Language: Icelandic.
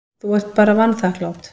Þú ert bara vanþakklát.